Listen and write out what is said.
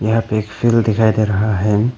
यहां पे एक फील्ड दिखाई दे रहा है।